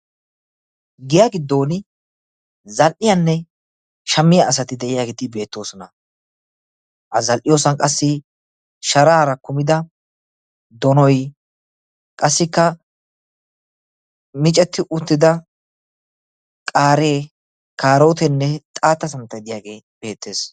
giya giddon zal'iyanne shammiya asati de'iyageeti beettoosona. ha zal'iyosan qassi sharaara kumida donoy qassikka micetti uttida qaaree, kaarooteenne xaatta santtay diyage beettes.